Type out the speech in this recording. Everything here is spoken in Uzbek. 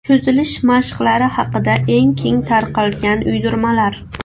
Cho‘zilish mashqlari haqida eng keng tarqalgan uydirmalar.